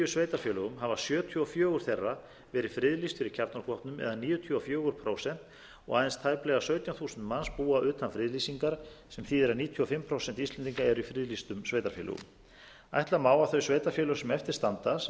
sveitarfélögum hafa sjötíu og fjögur þeirra verið friðlýst fyrir kjarnorkuvopnum eða níutíu og fjögur prósent og aðeins tæplega sautján þúsund manns búa utan friðlýsingar sem þýðir að um níutíu og fimm prósent íslendinga eru í friðlýstum sveitarfélögum ætla má að þau sveitarfélög sem eftir standa sem eru